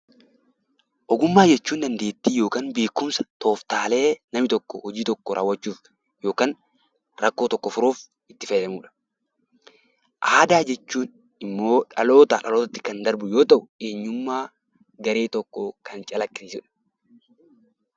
Ogummaa jechuun dandeettii yookaan beekumsa, tooftaalee namni tokko hojii tokko raawwachuuf yookaan rakkoo tokko furuuf itti fayyadamudha. Aadaa jechuun immoo dhalootaa dhalootatti kan darbu yoo ta'u, eenyummaa garee tokkoo kan calaqqisiisudha